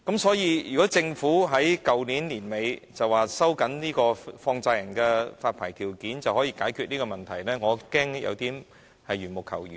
所以，政府在去年年底表示，收緊放債人發牌條件便可以解決這個問題，我恐怕有點緣木求魚。